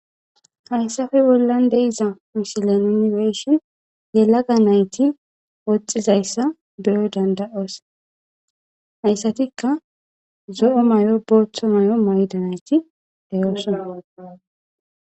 hayssafe bollan deiza misilan inifeeshin he laga nayti woxxizayssa beyoy dandayoos hayssatikka zo7o may7o booththo may7o mayda nayti deyoosona